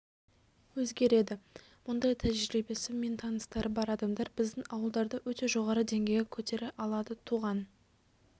өзгереді мұндай тәжірибесі мен таныстары бар адамдар біздің ауылдарды өте жоғары деңгейге көтере алады туған